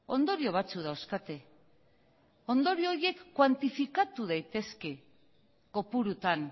ondorio batzuk dauzkate ondorio horiek kuantifikatu daitezke kopurutan